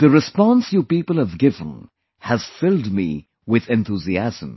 The response you people have given has filled me with enthusiasm